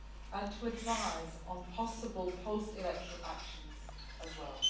and to advise on possible post electoral actions as well.